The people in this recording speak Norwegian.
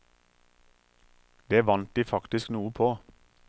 Det vant de faktisk noe på.